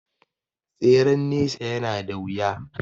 Tseren nesa ya na da wuya